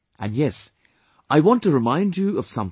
And yes, I want to remind you of something more